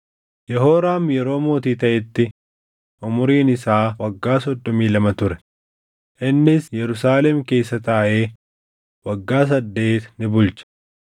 Yehooraam yeroo mootii taʼetti umuriin isaa waggaa soddomii lama ture; innis Yerusaalem keessa taaʼee waggaa saddeet ni bulche.